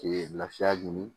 lafiya ɲini